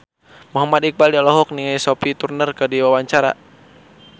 Muhammad Iqbal olohok ningali Sophie Turner keur diwawancara